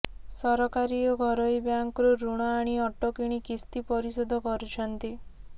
ସରକାରୀ ଓ ଘରୋଇ ବ୍ୟାଙ୍କରୁ ଋଣ ଆଣି ଅଟୋ କିଣି କିସ୍ତି ପରିଶୋଧ କରୁଛନ୍ତି